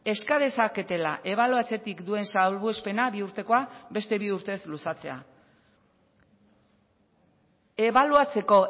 eska dezaketela ebaluatzetik duen salbuespena bi urtekoa beste bi urtez luzatzea ebaluatzeko